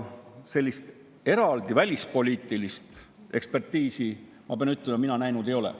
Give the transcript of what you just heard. Sellist eraldi välispoliitilist ekspertiisi, ma pean ütlema, mina näinud ei ole.